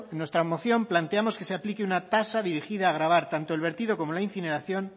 en nuestra moción planteamos que se aplique una tasa dirigida gravar tanto el vertido como la incineración